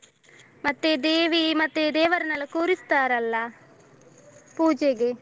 ಮತ್ತೆ ದೇವಿ ಮತ್ತೇ ದೇವರ್ನಲ್ಲ ಕೂರಿಸ್ತಾರಲ್ಲ ಪೂಜೆಗೆ.